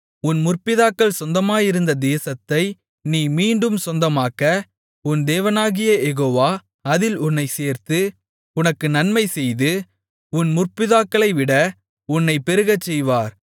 உன் முற்பிதாக்கள் சொந்தமாக்கியிருந்த தேசத்தை நீ மீண்டும் சொந்தமாக்க உன் தேவனாகிய யெகோவா அதில் உன்னைச் சேர்த்து உனக்கு நன்மைசெய்து உன் முற்பிதாக்களைவிட உன்னைப் பெருகச்செய்வார்